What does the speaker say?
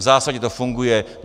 V zásadě to funguje.